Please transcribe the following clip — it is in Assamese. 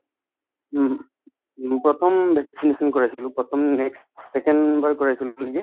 হুম, উম প্ৰথম vaccination কৰাইছিলো প্ৰথম next second বাৰ কৰাইছিলো নেকি